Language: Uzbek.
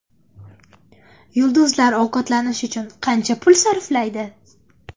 Yulduzlar ovqatlanish uchun qancha pul sarflaydi?.